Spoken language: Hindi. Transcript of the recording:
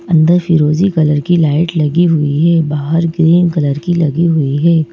अंदर फिरोजी कलर की लाइट लगी हुई है बाहर ग्रीन कलर की लगी हुई है।